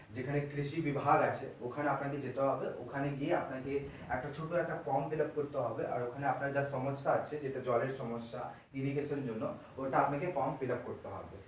যেখানে কৃষি বিভাগ আছে ওখানে আপনাকে যেতে হবে ওখানে গিয়ে আপনাকে একটা ছোট একটা form fillup করতে হবে র ওখানে আপনার যে সমস্যা আছে যেটা জলের সমস্যা irrigation এর জন্য ওটা আপনাকে form fillup করতে হবে।